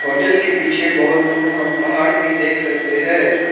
Hotel के पीछे बहोत दूर हम पहाड़ भी देख सकते है।